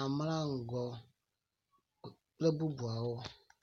amlaŋgo kple bubuawo.